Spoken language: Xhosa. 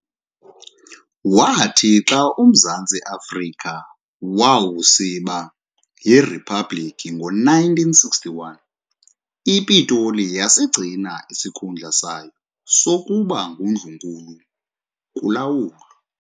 Waathi xa uMzantsi Afrika wawusiba yiRhiphabhlikhi ngo1961, iPitoli yasigcina isikhundla sayo sokuba nguNdlunkulu kulawulo.